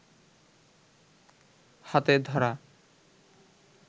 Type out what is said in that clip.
হাতে ধরা